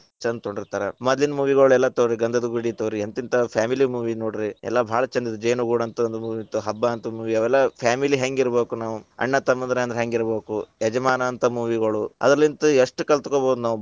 ಛಂದ ತಗೊಂಡಿರತಾರ, ಮದ್ಲಿನ movie ಗಳೆಲ್ಲಾ ತಗೋರಿ ಗಂಧದಗುಡಿ ತಗೋರಿ, ಎಂತೆಂತಾ family movie ನೋಡ್ರಿ ಎಲ್ಲಾ ಭಾಳ ಛಂದ ಅದಾವ ಜೇನುಗೂಡು ಅಂತ ಒಂದ್ movie ಇತ್ತ್ ಹಬ್ಬಾ ಅಂತ movie ಅವೆಲ್ಲಾ family ಹೆಂಗಿರಬೇಕ್ ನಾವು ಅಣ್ಣ, ತಮ್ಮಂದಿರ ಅಂದ್ರ ಹೆಂಗಿರಬೇಕು. ಯಜಮಾನ ಅಂತ movie ಗಳು ಅದರಲಿಂತ ಎಷ್ಟ್ ಕಲತ್ಗೊಬಹುದು ನಾವು.